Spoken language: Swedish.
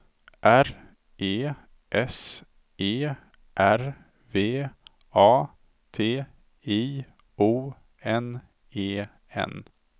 R E S E R V A T I O N E N